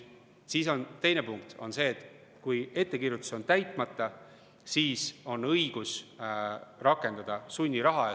Teine punkt on see, et kui ettekirjutus on täitmata, siis on õigus rakendada sunniraha.